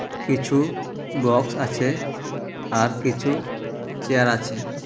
কিছু বক্স আছে আর কিছু চেয়ার আছে।